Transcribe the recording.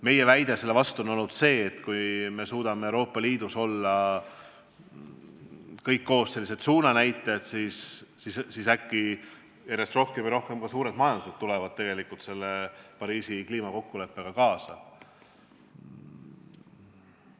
Meie väide selle peale on olnud see, et kui me suudame Euroopa Liidus olla kõik koos sellised suunanäitajad, siis äkki järjest rohkem ka suured majandused tulevad Pariisi kliimakokkuleppega kaasa.